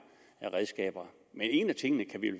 af redskaber en af tingene kan vi